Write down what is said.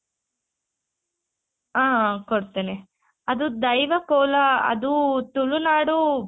ಆ ಕೊಡ್ತೀನಿ ಅದು ದೈವ ಕೋಲ ಅದು ತುಳುನಾಡು